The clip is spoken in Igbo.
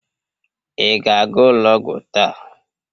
Ị ga-aga ụlọ ọgwụ taa?